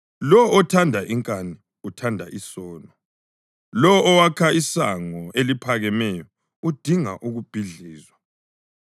Lowo othanda inkani uthanda isono; lowo owakha isango eliphakemeyo udinga ukubhidlizwa.